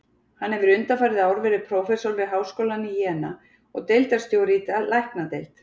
Hann hefur undanfarið ár verið prófessor við háskólann í Jena og deildarstjóri í læknadeild.